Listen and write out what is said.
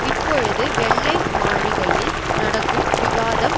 இப்பொழுது வெள்ளை மாளிகையில் நடக்கும் விவாதம்